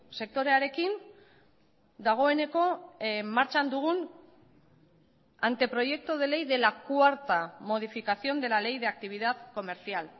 sektorearekin dagoeneko martxan dugun anteproyecto de ley de la cuarta modificación de la ley de actividad comercial